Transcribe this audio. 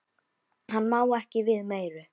Hann má ekki við meiru.